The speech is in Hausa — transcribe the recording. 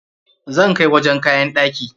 Zan kai wajen kayan ɗaki.